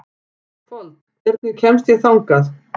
Fold, hvernig kemst ég þangað?